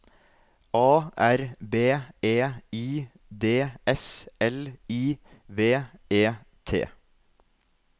A R B E I D S L I V E T